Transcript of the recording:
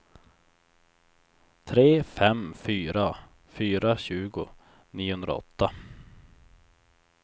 tre fem fyra fyra tjugo niohundraåtta